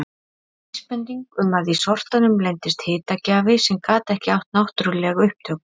Vísbending um að í sortanum leyndist hitagjafi sem gat ekki átt náttúruleg upptök.